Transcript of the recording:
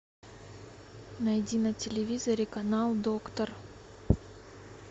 найди на телевизоре канал доктор